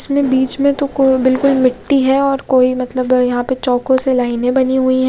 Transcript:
इसमें बिच में तो को बिलकुल मिट्टी है और कोई मतलब यहाँ पे चोको से लायने बानी हुयी है।